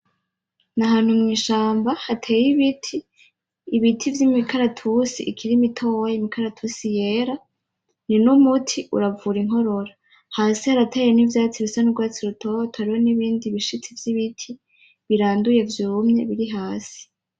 Ni ahantu mw'ishamba hateye ibiti , ibiti vy'imikaratusi ikiri mitoya, imikaratusi yera, ni numuti uravura inkorora , hasi harateye n'ivyatsi bisa n'urwatsi rutoto hariho nibindi bishitsi vy'ibiti biranduye vyumye biri hasi.